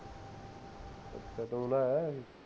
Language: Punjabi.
ਅੱਛਾ ਤੂੰ ਨਹਾ ਆਇਆ ਹਜੇ